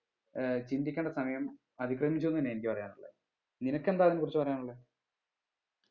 ഏർ ചിന്തിക്കേണ്ട സമയം അതിക്രമിച്ചു തന്നെ എനിക്ക് പറയാനുള്ളെ നിനക്കെന്താ ഇതിനെ കുറിച്ച് പറയാനുള്ളെ